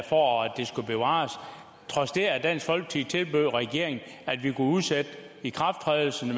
for at det skulle bevares trods det at dansk folkeparti tilbød regeringen at vi kunne udsætte ikrafttrædelsen og